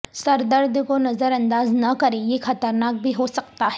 سر درد کو نظر انداز نہ کریں یہ خطرناک بھی ہو سکتا ہے